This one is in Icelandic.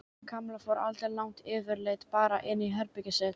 Kamilla fór aldrei langt yfirleitt bara inn í herbergið sitt.